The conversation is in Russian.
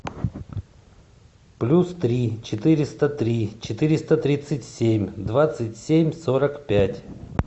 плюс три четыреста три четыреста тридцать семь двадцать семь сорок пять